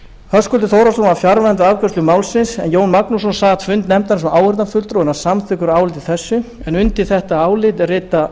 höskuldur þórhallsson var fjarverandi við afgreiðslu málsins jón magnússon sat fundi nefndarinnar sem áheyrnarfulltrúi og er hann samþykkur áliti þessu undir þetta álit rita